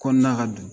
Kɔnɔna ka du